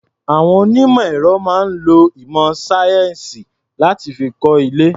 Àwon onímọ̀ ẹ̀rọ máa ń lo ìmọ̀ sáyẹ́ǹsì láti fi kọ́ ilé.